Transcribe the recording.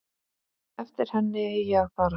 Eftir henni eigi að fara.